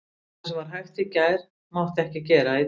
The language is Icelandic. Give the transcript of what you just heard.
Það sem var hægt í gær mátti ekki gera í dag.